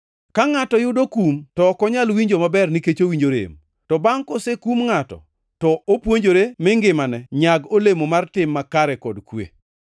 Ka ngʼato yudo kum to ok onyal winjo maber nikech owinjo rem. To bangʼ kosekum ngʼato to opuonjore mi ngimane nyag olemo mar tim makare kod kwe.